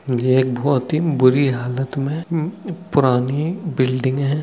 ये एक बहुत ही बुरी हालत में म पुरानी बिल्डिंग है |